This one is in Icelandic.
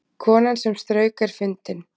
Konan sem strauk er fundin